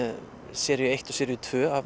seríu eitt og tvö af